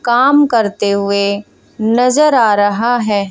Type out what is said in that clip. काम करते हुए नजर आ रहा है।